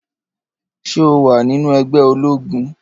Ṣé o wà nínú ẹgbẹ́ ológun?